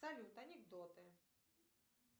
салют анекдоты